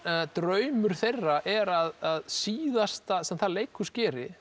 draumur þeirra er að síðasta sem það leikhús geri